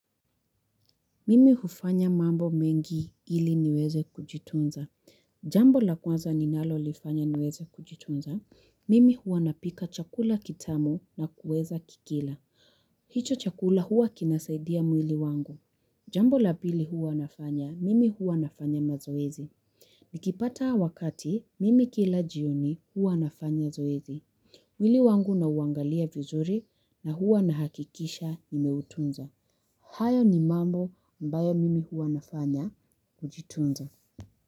Mimi hufanya mambo mengi ili niweze kujitunza. Jambo la kwanza ninalo lifanya niweze kujitunza. Mimi huwa napika chakula kitamu na kuweza kukila. Hicho chakula huwa kinasaidia mwili wangu. Jambo la pili huwa nafanya, mimi huwa nafanya mazoezi. Nikipata wakati, mimi kila jioni huwa nafanya zoezi. Mwili wangu na uangalia vizuri na huwa na hakikisha nimeutunza. Hayo ni mambo ambayo mimi huwanafanya kujitunza.